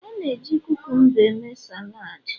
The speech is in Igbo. A na-eji kukumba eme salad